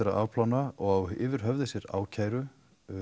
að afplána og á yfir höfði sér ákæru